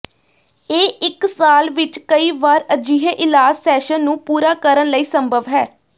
ਇਹ ਇੱਕ ਸਾਲ ਵਿੱਚ ਕਈ ਵਾਰ ਅਜਿਹੇ ਇਲਾਜ ਸੈਸ਼ਨ ਨੂੰ ਪੂਰਾ ਕਰਨ ਲਈ ਸੰਭਵ ਹੈ